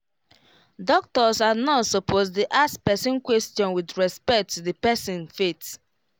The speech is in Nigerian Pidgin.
doctors and nurse supposed dey ask person question with respect to the person faith